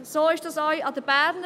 So ist es auch an der BFH.